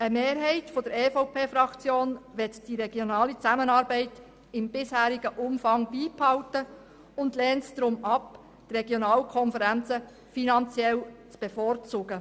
Eine Mehrheit der EVP-Fraktion möchte die regionale Zusammenarbeit im bisherigen Umfang beibehalten und lehnt es deshalb ab, die Regionalkonferenzen finanziell zu bevorzugen.